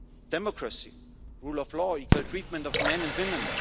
Democracy, rule of law, equal treatment of men and women